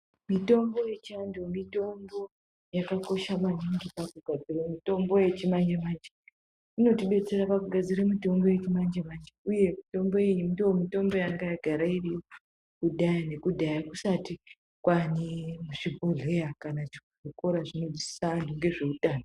Mitombo yechianhu mitombo yakakosha maningi pakugadzira mitombo yechimanjemanje inotidetsera pakugadzira mitombo yechimanjemanje uye mitombo iyi ndiyo mitombo yanga yagara iriyo kudhaya nekudhaya kusati kwaane zvibhehleya kana chikora chinodzidzisa anhu ngezveutano.